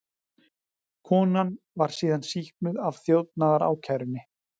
Konan var síðan sýknuð af þjófnaðarákærunni